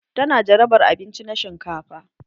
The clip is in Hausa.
Ta na jarabar abinci na shinkafa.